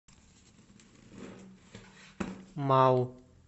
мау